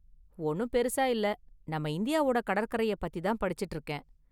ஒன்னும் பெரிசா இல்ல, நம்ம இந்தியாவோட கடற்கரைய பத்திதான் படிச்சுட்டு இருக்கேன்.